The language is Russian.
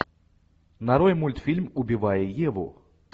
нарой мультфильм убивая еву